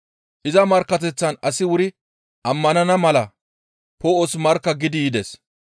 Iza markkateththan asi wuri ammanana mala Poo7os markka gidi yides.